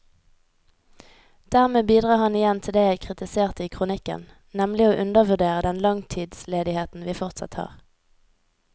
Dermed bidrar han igjen til det jeg kritiserte i kronikken, nemlig å undervurdere den langtidsledigheten vi fortsatt har.